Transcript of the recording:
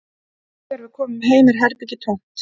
Þegar við komum heim er herbergið tómt